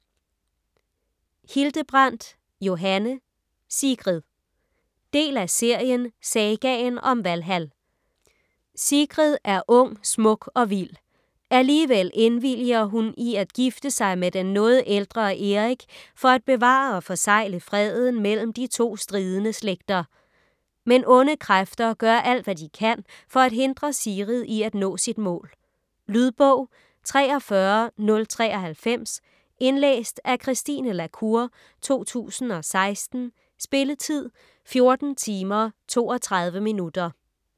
Hildebrandt, Johanne: Sigrid Del af serien Sagaen om Valhal. Sigrid er ung, smuk og vild. Alligevel indvilliger hun i at gifte sig med den noget ældre Erik for at bevare og forsegle freden mellem de to stridende slægter. Men onde kræfter gør alt, hvad de kan for at hindre Sigrid i at nå sit mål. . Lydbog 43093 Indlæst af Christine la Cour, 2016. Spilletid: 14 timer, 32 minutter.